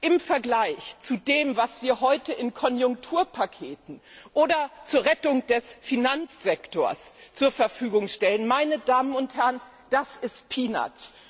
Im Vergleich zu dem, was wir heute in Konjunkturpaketen oder zur Rettung des Finanzsektors zur Verfügung stellen, sind das peanuts